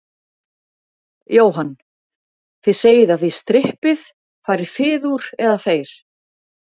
Jóhann: Þið segið að þið strippið, farið þið úr, eða þeir?